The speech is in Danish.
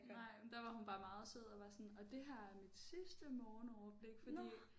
Nej men der var hun bare meget sød og var sådan og det her er mit sidste morgenoverblik fordi